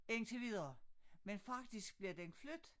Indtil videre men faktisk bliver den flyttet